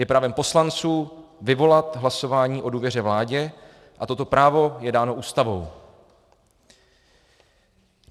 Je právem poslanců vyvolat hlasování o důvěře vládě a toto právo je dáno Ústavou.